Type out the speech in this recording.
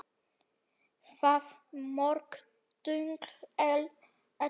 Hvað mörg tungl ellefu?